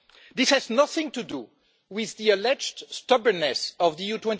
This has nothing to do with the alleged stubbornness of the EU